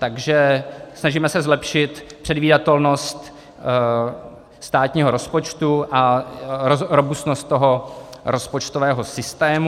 Takže snažíme se zlepšit předvídatelnost státního rozpočtu a robustnost toho rozpočtového systému.